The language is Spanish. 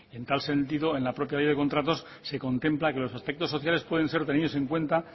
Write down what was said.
en tal sentido en la propia ley de contratos se contempla que los aspectos sociales pueden ser tenidos en cuenta